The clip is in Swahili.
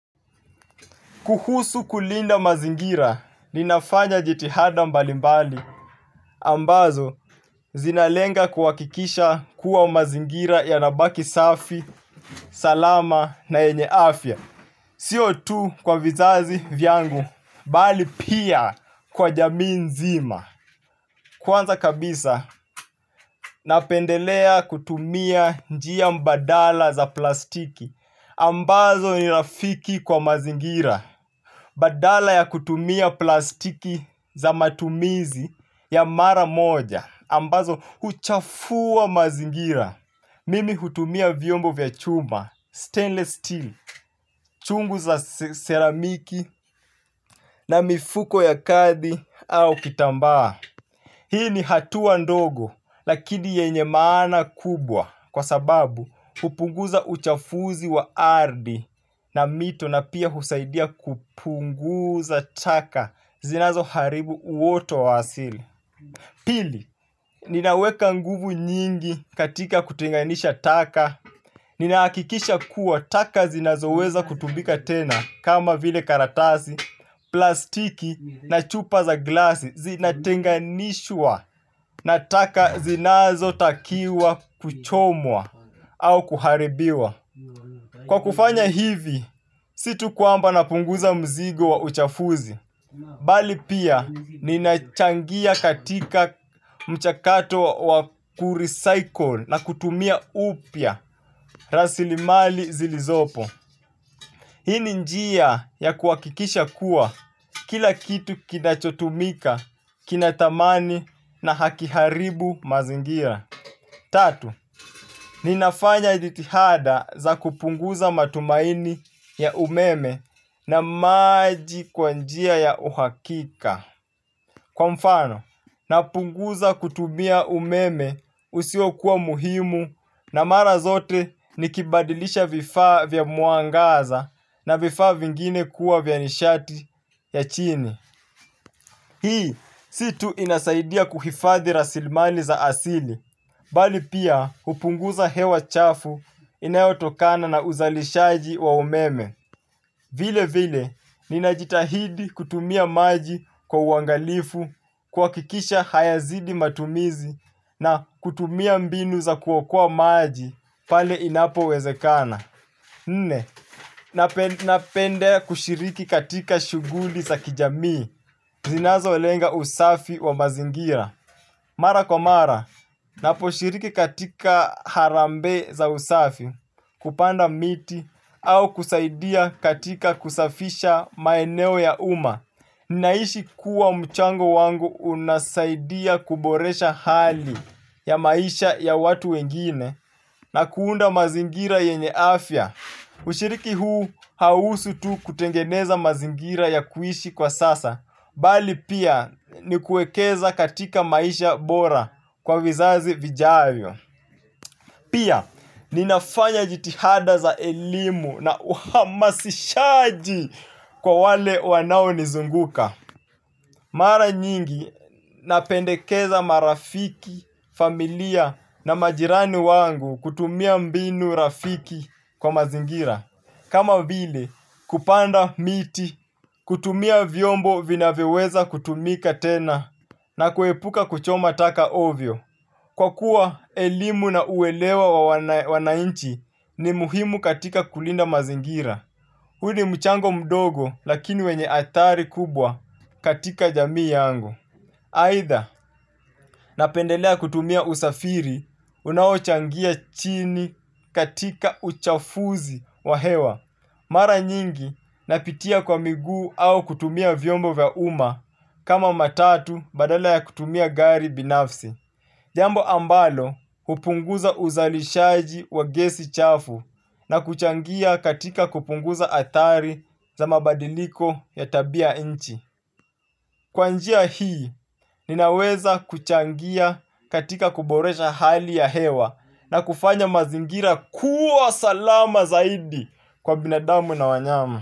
Kuhusu kulinda mazingira, ninafanya jitihada mbali mbali, ambazo zinalenga kuwakikisha kuwa mazingira yanabaki safi, salama na yenye afya. Sio tu kwa vizazi vyangu, bali pia kwa jamii nzima. Kwanza kabisa, napendelea kutumia njia mbadala za plastiki, ambazo ni rafiki kwa mazingira. Badala ya kutumia plastiki za matumizi ya mara moja ambazo huchafua mazingira. Mimi hutumia vyombo vya chuma, stainless steel, chungu za seramiki na mifuko ya kathi au kitambaa. Hii ni hatua ndogo lakini yenye maana kubwa kwa sababu hupunguza uchafuzi wa ardhi na mito na pia husaidia kupunguza taka zinazo haribu uoto wa asili. Pili, ninaweka nguvu nyingi katika kutenganisha taka, ninahakikisha kuwa taka zinazo weza kutumika tena kama vile karatasi, plastiki na chupa za glasi zinatenganishwa na taka zinazo takiwa kuchomwa au kuharibiwa. Kwa kufanya hivi, situ kwamba napunguza mzigo wa uchafuzi. Bali pia, ninachangia katika mchakato wa kurecycle na kutumia upya rasilimali zilizopo. Hini njia ya kuwakikisha kuwa kila kitu kinachotumika kinathamani na hakiharibu mazingira. Tatu, ninafanya jitihada za kupunguza matumaini ya umeme na maji kwa njia ya uhakika. Kwa mfano, napunguza kutumia umeme usio kuwa muhimu na mara zote nikibadilisha vifaa vya mwangaza na vifaa vingine kuwa vya nishati ya chini. Hii, si tu inasaidia kuhifadhi rasilmali za asili, bali pia hupunguza hewa chafu inayotokana na uzalishaji wa umeme. Vile vile, ninajitahidi kutumia maji kwa uangalifu kuakikisha hayazidi matumizi na kutumia mbinu za kuokoa maji pale inapo wezekana. Nne, napenda kushiriki katika shuguli za kijamii zinazo lenga usafi wa mazingira. Mara kwa mara, naposhiriki katika harambee za usafi kupanda miti au kusaidia katika kusafisha maeneo ya uma. Naisi kuwa mchango wangu unasaidia kuboresha hali ya maisha ya watu wengine na kuunda mazingira yenye afya. Ushiriki huu hauhusu tu kutengeneza mazingira ya kuishi kwa sasa, bali pia ni kuekeza katika maisha bora kwa vizazi vijavyo. Pia, ninafanya jitihada za elimu na uhamasishaji kwa wale wanao nizunguka. Mara nyingi napendekeza marafiki, familia na majirani wangu kutumia mbinu rafiki kwa mazingira. Kama vile kupanda miti, kutumia vyombo vinavyoweza kutumika tena na kuepuka kuchoma taka ovyo kwa kuwa elimu na uelewa wa wanainchi ni muhimu katika kulinda mazingira. Huu ni mchango mdogo lakini wenye athari kubwa katika jamii yangu. Aitha napendelea kutumia usafiri unaochangia chini katika uchafuzi wa hewa. Mara nyingi napitia kwa miguu au kutumia vyombo vya uma kama matatu badala ya kutumia gari binafsi. Jambo ambalo hupunguza uzalishaji wa gesi chafu na kuchangia katika kupunguza athari za mabadiliko ya tabia nchi. Kwa njia hii ninaweza kuchangia katika kuboresha hali ya hewa na kufanya mazingira kuwa salama zaidi kwa binadamu na wanyama.